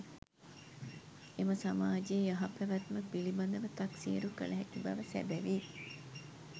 එම සමාජයේ යහපැවැත්ම පිළිබඳ ව තක්සේරු කළ හැකි බව සැබැවි.